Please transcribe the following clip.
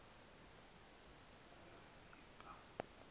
ukuzibika